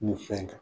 Nin fɛn in kan